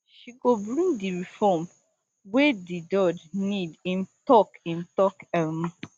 she go bring di reform wey di doj need im tok im tok um